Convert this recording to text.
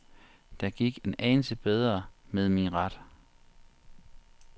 Det gik en anelse bedre med min ret.